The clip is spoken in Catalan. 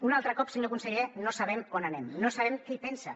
un altre cop senyor conseller no sabem on anem no sabem què en pensa